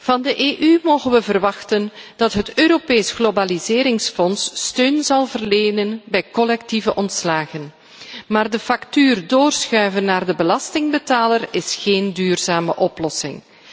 Van de EU mogen we verwachten dat het Europees Globaliseringsfonds steun zal verlenen bij collectieve ontslagen. Maar de factuur doorschuiven naar de belastingbetaler is geen duurzame oplossing.